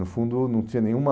No fundo, não tinha nenhuma...